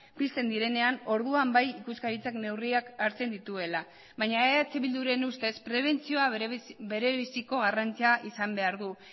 pizten direnean orduan bai ikuskaritzak neurriak hartzen dituela baina eh bilduren ustez prebentzioa berebiziko garrantzia izan behar du